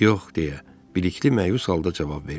Yox, deyə Bilikli məyus halda cavab verdi.